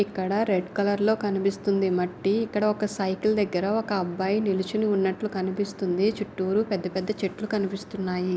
ఇక్కడ red colour లో కనిపిస్తుంది మట్టి ఇక్కడ ఒక సైకిల్ దగ్గర ఒక అబ్బాయ్ నిలుచుని ఉన్నట్లు కనిపిస్తుంది చుట్టూరు పెద్ద పెద్ద చెట్లు కనిపిస్తునాయి.